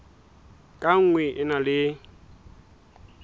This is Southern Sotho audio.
ka nngwe e na le